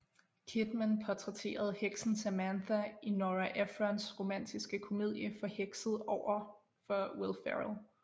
Kidman portrætterede heksen Samantha i Nora Ephrons romantiske komedie Forhekset overfor Will Ferrell